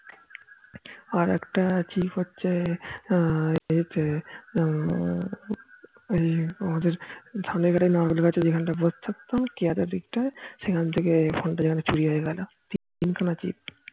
আর একটা chip হচ্ছে এতে হম আমাদের ধানের এখানে যেখানে বসে থাকতাম কেয়াদের দিকটায় সেখান থেকে phone তা যেখানে চুরি হয় গেল তিন খানা chip